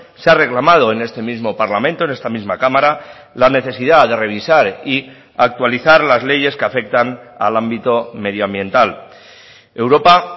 se ha reclamado en este mismo parlamento en esta misma cámara la necesidad de revisar y actualizar las leyes que afectan al ámbito medio ambiental europa